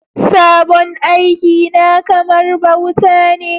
Sabon aiki na kamar bauta ne